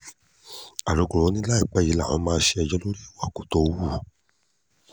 alukoro ni láìpẹ́ yìí làwọn máa bá a ṣẹjọ́ lórí ìwà tó wù